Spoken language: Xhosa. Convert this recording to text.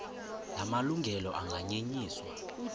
la malungelo anganyenyiswa